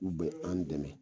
U be an dɛmɛ